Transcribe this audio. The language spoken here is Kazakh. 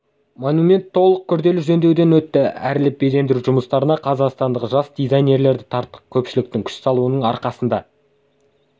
монумент толық күрделі жөндеуден өтті әрлеп безендіру жұмыстарына қазақстандық жас дизайнерлерді тарттық көпшіліктің күш салуының арқасында